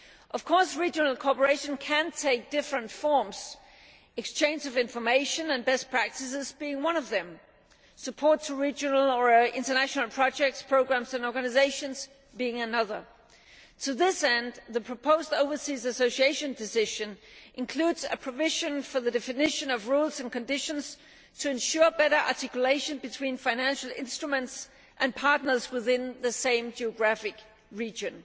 Of course, regional cooperation can take different forms, exchange of information and best practices being one of them and support for regional or international projects, programmes and organisations another. To this end, the proposed Overseas Association Decision includes a provision for the definition of rules and conditions to ensure better articulation between financial instruments and partners within the same geographic region.